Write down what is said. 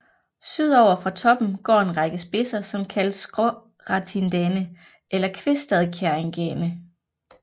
Sydover fra toppen går en række spidser som kaldes Skåratindane eller Kvistadkjerringane